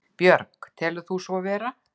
Björg: Telur þú svo vera?